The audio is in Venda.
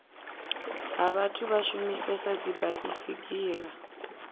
ha vhathu vha shumisesa dzibaisigila